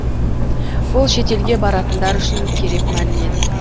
бұл шетелге баратындар үшін керек мәлімет